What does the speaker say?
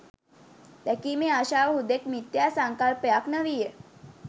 දැකීමේ ආශාව හුදෙක් මිත්‍යා සංකල්පයක් නො වීය